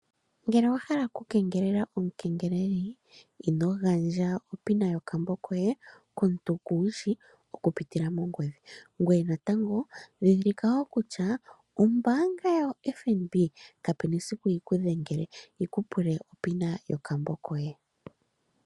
Uuna wa hala okukengelela omukengeleli ino gandja oshipatululo shokambo koye komuntu kumu shi okupitila mongodhi , ndhindhilika wo kutya ombaanga yaFNB kayi na esiku yikudhengele yikupuke oshipatululo shokambo koye.